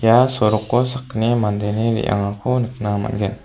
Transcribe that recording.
ia soroko sakgni mandeni re·angako nikna man·gen.